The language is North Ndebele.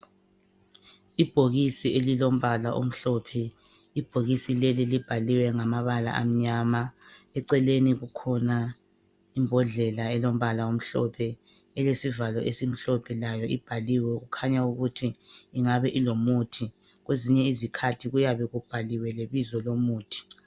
Ibhokisi elilombala omhlophe, Ibhokisi leli libhaliwe ngamabala amnyama. Eceleni kukhona imbodlela elombala omhlophe elesivalo esimhlophe layo ibhaliwe kukhanya ukuthi ingabe ilomuthi. Kwezinye izikhathi kuyabe kubhaliwe lebizo lomuthi.